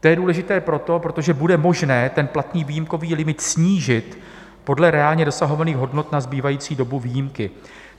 To je důležité proto, protože bude možný ten platný výjimkový limit snížit podle reálně dosahovaných hodnot na zbývající dobu výjimky.